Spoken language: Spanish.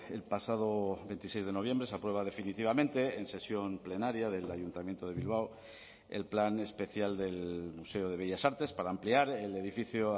el pasado veintiséis de noviembre se aprueba definitivamente en sesión plenaria del ayuntamiento de bilbao el plan especial del museo de bellas artes para ampliar el edificio